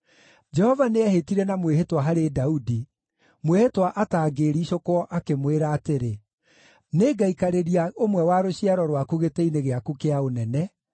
Jehova nĩehĩtire na mwĩhĩtwa harĩ Daudi, mwĩhĩtwa atangĩĩricũkwo, akĩmwĩra atĩrĩ: “Nĩngaikarĩria ũmwe wa rũciaro rwaku Gĩtĩ-inĩ gĩaku kĩa ũnene,